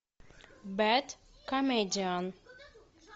бэд комедиан